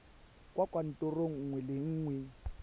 kwa kantorong nngwe le nngwe